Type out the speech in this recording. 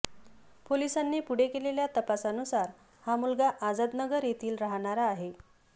पोलिसांनी पुढे केलेल्या तपासानुसार हा मुलगा आझादनगर येथील राहणारा आहे